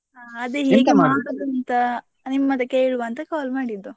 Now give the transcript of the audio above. ಹಾ ಅದೇ ಹೇಗೆ ನಿಮ್ಮತ್ರ ಕೇಳುವ ಅಂತ call ಮಾಡಿದ್ದು.